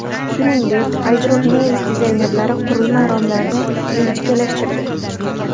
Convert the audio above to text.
Shuningdek, iDropNews dizaynerlari qurilma romlarini ingichkalashtirdi.